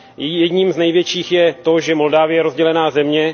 Jejím jedním z největších je to, že Moldavsko je rozdělená země.